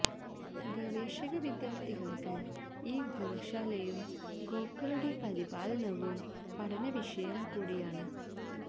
ഗവേഷക വിദ്യാര്ഥികള്ക്ക് ഈ ഗോശാലയും ഗോക്കളുടെ പരിപാലനവും പഠന വിഷയം കൂടിയാണ്